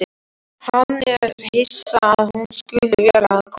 Hann er hissa að hún skuli vera að koma.